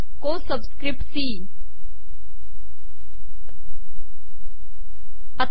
सबिसकपट बीटा को सीई